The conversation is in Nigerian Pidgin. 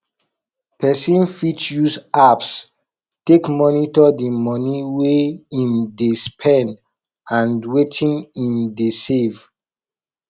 person fit use apps take monitor di money wey im dey spend and wetin im dey save